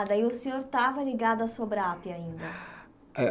Ah, daí o senhor estava ligado à Sobrap ainda. É